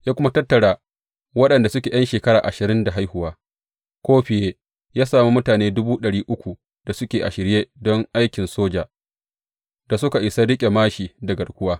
Ya kuma tattara waɗanda suke ’yan shekara ashirin da haihuwa ko fiye ya sami mutane dubu ɗari uku da suke a shirye don aikin soja, da suka isa riƙe māshi da garkuwa.